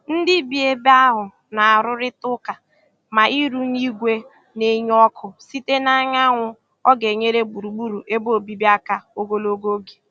Ndị bi ebe ahụ na-arụrịta ụka ma ịrụnye igwe na-enye ọkụ site n'anyanwụ ọ ga-enyere gburugburu ebe obibi aka ogologo oge.